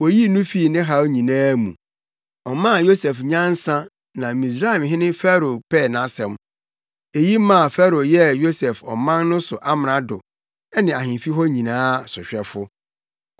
oyii no fii ne haw nyinaa mu. Ɔmaa Yosef nyansa na Misraimhene Farao pɛɛ nʼasɛm. Eyi maa Farao yɛɛ Yosef ɔman no so amrado ne ahemfi hɔ nyinaa sohwɛfo.